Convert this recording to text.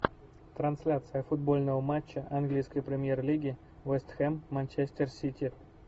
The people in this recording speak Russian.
трансляция футбольного матча английской премьер лиги вест хэм манчестер сити